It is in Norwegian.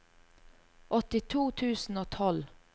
åttito tusen og tolv